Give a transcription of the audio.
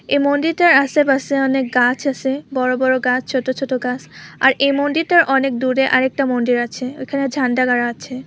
এ মন্দিরটার আশেপাশে অনেক গাছ আছে বড়ো গাছ ছোট গাছ আর এ মন্দির টার অনেক দূরে আরেকটা মন্দির আছে। ঐখানে ঝান্ডা গাড়া আছে।